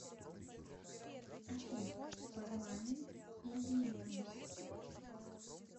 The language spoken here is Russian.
афина парламент иллинойс